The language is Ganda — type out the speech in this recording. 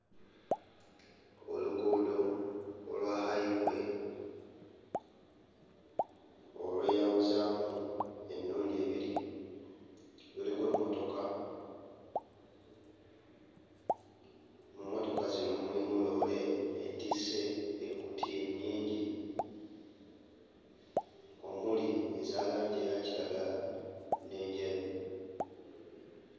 Oluguudo olwa highway olweyawuzaamu emirundi ebiri. Luliko emmotoka, mu mmotoka zino mulimu loole etisse ekkutiya ennyingi, omuli eza langi eya kiragala n'enjeru.